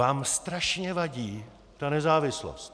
Vám strašně vadí ta nezávislost.